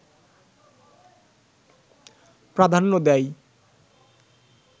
প্রাধান্য দেয়